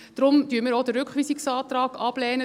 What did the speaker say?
Deshalb lehnen wir auch den Rückweisungsantrag ab.